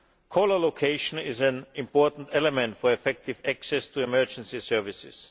Caller location is an important element for effective access to emergency services.